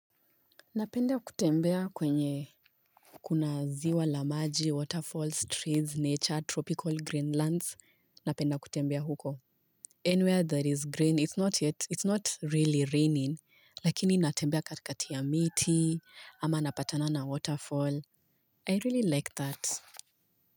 Napenda kutembea kwenye Kuna ziwa la maji, waterfalls, trees, nature, tropical green lands napenda kutembea huko Anywhere that is green it's not yet it's not really raining lakini natembea katikati ya miti ama napatana na waterfall I really like that.